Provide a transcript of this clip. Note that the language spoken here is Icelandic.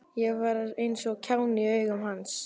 Ég var eins og kjáni í augum hans.